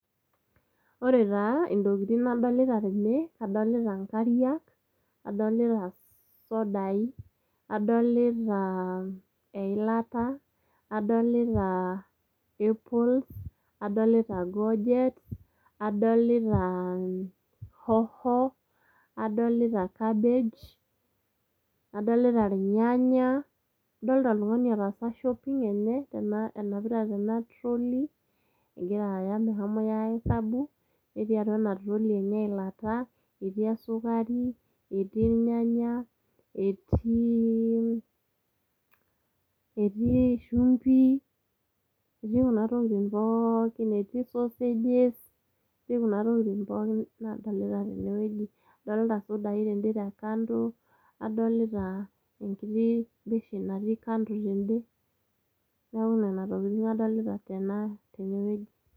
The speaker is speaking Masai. Ore taa intokitin nadolita tene, adolita inkariak ,adolita isodai, adolita eilata , adolita apple, adolita goget ,adolita hoho, adolita cabbage, adolita irnyanya ,adolita oltungani otaasa shopping enye ,enapita tena trolley ,egira aya mehomi ahesabu, netii atua ena trolley enye eilata ,etii esukari ,etii irnyanya , etii shumbi , etiikuna tokitin pookin, etii sausages , etii kuna tokitin pookin nadolita tene wueji. Adolita isudai tende wueji te kando , adolita enkiti beshen natii kando tende ,niaku nena tokitin adolita tena tene wueji.